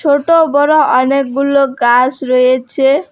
ছোট বড়ো অনেকগুলো গাস রয়েছে।